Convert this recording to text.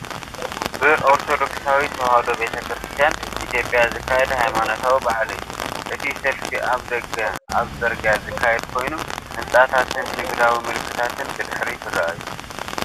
ብኦርቶዶክሳዊት ተዋህዶ ቤተ ክርስቲያን ኢትዮጵያ ዝካየድ ሃይማኖታዊ በዓል እዩ። እቲ ሰልፊ ኣብ ደገ ኣብ ጽርግያ ዝካየድ ኮይኑ፤ ህንጻታትን ንግዳዊ ምልክታትን ብድሕሪት ይረኣዩ።